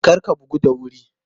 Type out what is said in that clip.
Kar a bugu da wuri!